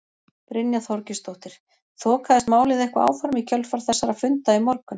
Brynja Þorgeirsdóttir: Þokaðist málið eitthvað áfram í kjölfar þessara funda í morgun?